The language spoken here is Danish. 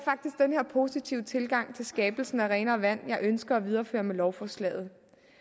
positive tilgang til skabelsen af renere vand jeg ønsker at videreføre med lovforslaget